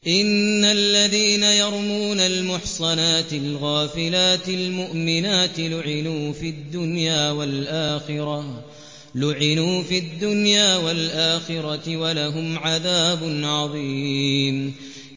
إِنَّ الَّذِينَ يَرْمُونَ الْمُحْصَنَاتِ الْغَافِلَاتِ الْمُؤْمِنَاتِ لُعِنُوا فِي الدُّنْيَا وَالْآخِرَةِ وَلَهُمْ عَذَابٌ عَظِيمٌ